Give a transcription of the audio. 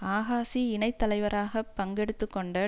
ஆகாஷி இணை தலைவராக பங்கெடுத்து கொண்ட